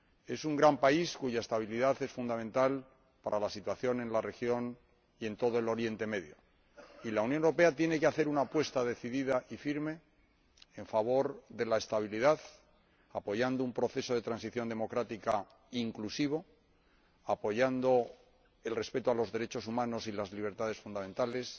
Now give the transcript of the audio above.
Es un gran país, cuya estabilidad es fundamental para la situación en la región y en todo Oriente Próximo, y la Unión Europea tiene que hacer una apuesta decidida y firme en favor de la estabilidad, apoyando un proceso de transición democrática inclusivo, apoyando el respeto de los derechos humanos y las libertades fundamentales,